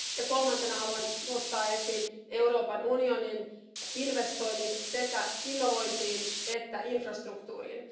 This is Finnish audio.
Kolmantena haluan nostaa esiin Euroopan unionin investoinnit sekä innovointiin että infrastruktuuriin.